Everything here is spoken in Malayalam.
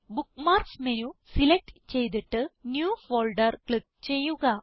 ബുക്ക്മാർക്സ് മെനു സിലക്റ്റ് ചെയ്തിട്ട് ന്യൂ ഫോൾഡർ ക്ലിക്ക് ചെയ്യുക